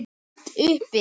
Hátt uppi.